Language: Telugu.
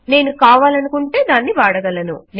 నేను కావాలనుకుంటే దాన్ని వాడగలను